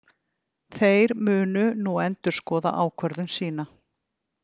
Þeir munu nú endurskoða ákvörðun sína